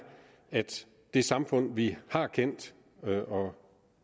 at det samfund vi har kendt og